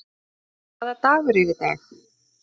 Lórens, hvaða dagur er í dag?